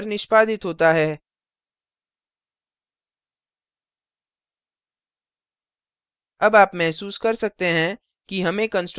तभी constructor निष्पादित होता है